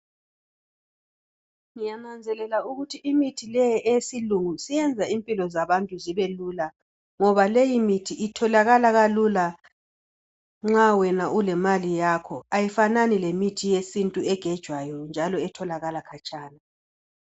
Ngiyananzelela ukuthi imithi le eyesilungu isiyenza impilo zabantu zibe lula ngoba leyi imithi itholakala kalula nxa wena ulemali yakhe ayifanani lemithi yesintu egejwayo njalo etholakala khatshana.